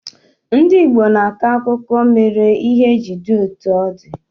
Ndị Igbo na-akọ akụkọ mere ihe ji di etu o di